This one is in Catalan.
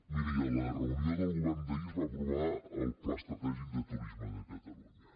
miri a la reunió del govern d’ahir es va aprovar el pla estratègic de turisme de catalunya